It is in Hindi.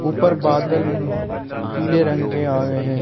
ऊपर बादल पीले रंग के आए हैं।